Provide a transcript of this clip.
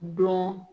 Don